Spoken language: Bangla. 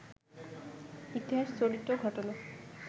ইতিহাস, চরিত্র, ঘটনা